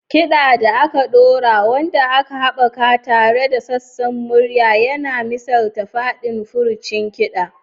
Kiɗa da aka ɗora, wanda aka haɓaka tare da sassan murya, yana misalta faɗin furcin kiɗan.